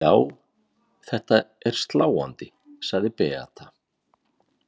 Já, þetta er sláandi, sagði Beata.